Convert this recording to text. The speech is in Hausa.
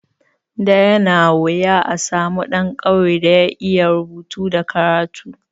Da yana wuya a samu ɗan ƙauye da ya iya rubutu da karatu.